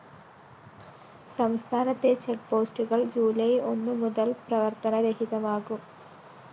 സംസ്ഥാനത്തെ ചെക്ക്‌ പോസ്റ്റുകള്‍ ജൂലൈ ഒന്നു മുതല്‍ പ്രവര്‍ത്തനരഹിതമാകും